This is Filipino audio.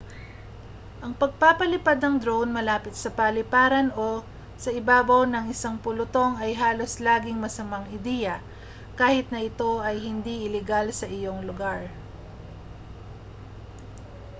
ang pagpapalipad ng drone malapit sa paliparan o sa ibabaw ng isang pulutong ay halos laging masamang ideya kahit na ito ay hindi ilegal sa iyong lugar